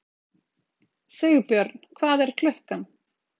Sigbjörn, hvað er klukkan?